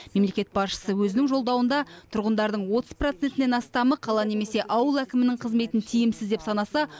мемлекет басшысы өзінің жолдауында тұрғындардың отыз процентінен астамы қала немесе ауыл әкімінің қызметін тиімсіз деп санаса